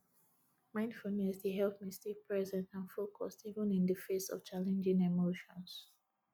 mindfulness dey help me stay present and focused even in di face of challenging emotions